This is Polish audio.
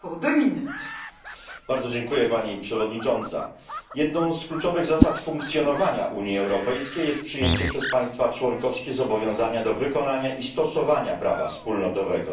w imieniu grupy PPE DE. Pani Przewodnicząca! Jedną z kluczowych zasad funkcjonowania Unii Europejskiej jest przyjęcie przez państwa członkowskie zobowiązania do wykonania i stosowania prawa wspólnotowego.